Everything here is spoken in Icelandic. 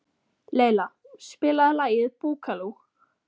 Leila, spilaðu lagið „Búkalú“.